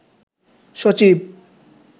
সচিব